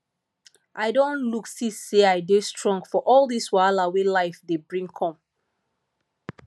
i don look see say i dey strong for all dis wahala wey life dey bring come